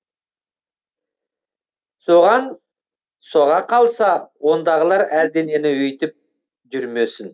соған соға қалса ондағылар әлденені өйтіп жүрмесін